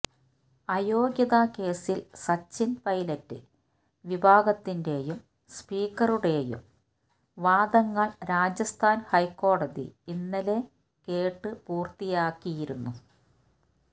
അയോഗ്യതാ കേസില് സച്ചിന് പൈലറ്റ് വിഭാഗത്തിന്റേയും സ്പീക്കറുടേയും വാദങ്ങള് രാജസ്ഥാന് ഹൈക്കോടതി ഇന്നലെ കേട്ട് പൂര്ത്തിയാക്കിയിരുന്നു